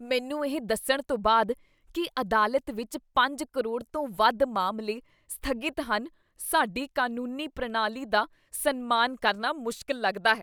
ਮੈਨੂੰ ਇਹ ਦੱਸਣ ਤੋਂ ਬਾਅਦ ਕੀ ਅਦਾਲਤ ਵਿੱਚ ਪੰਜ ਕਰੋੜ ਤੋਂ ਵੱਧ ਮਾਮਲੇ ਸਥਗਿਤ ਹਨ, ਸਾਡੀ ਕਾਨੂੰਨੀ ਪ੍ਰਣਾਲੀ ਦਾ ਸਨਮਾਨ ਕਰਨਾ ਮੁਸ਼ਕਲ ਲੱਗਦਾ ਹੈ